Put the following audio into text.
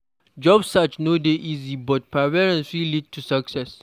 Job search no dey easy, but perseverance fit lead to success.